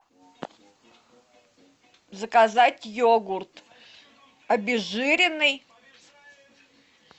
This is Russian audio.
заказать йогурт обезжиренный